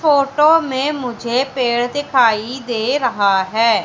Photo में मुझे पेड़ दिखाई दे रहा है।